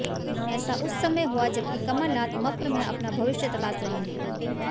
ऐसा उस समय हुआ जबकि कमलनाथ मप्र में अपना भविष्य तलाश रहे हैं